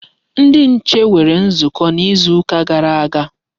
Ndi nche nwere nzukọ n'izuka gara aga.